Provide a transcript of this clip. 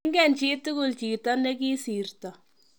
ingen chitugul chito ne kisirto